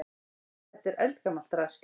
Þetta er eldgamalt drasl.